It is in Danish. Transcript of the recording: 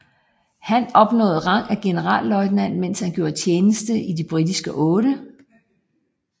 Han opnåede rang af generalløjtnant mens han gjorde tjeneste i den britiske 8